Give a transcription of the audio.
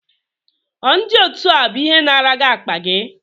ọ ndi otu a bu ihe nara gi akpa gi?